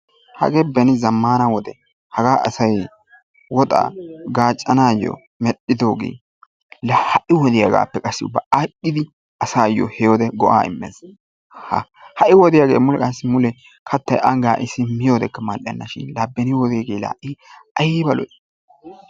Hagee beni zamaana wode hagaa asay woxaa gaacanayo medhidoogee laa ha'i wodiyagaapppe qassi ubba aadhidi asaayo he wode go'aa immes. Ha'i wodiyaagee qassi uba mule kattay ani gaaaccissin mal'enna shin laa beni wodeege ayba lo'ii?